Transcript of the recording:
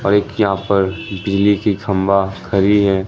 और एक यहां पर बिजली की खंबा खरी है।